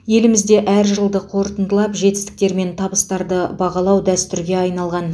елімізде әр жылды қорытындылап жетістіктер мен табыстарды бағалау дәстүрге айналған